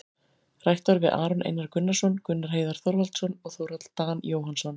Rætt var við Aron Einar Gunnarsson, Gunnar Heiðar Þorvaldsson og Þórhall Dan Jóhannsson,